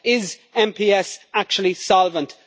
Is MPS actually solvent?